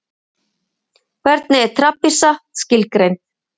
Hvernig er trapisa skilgreind?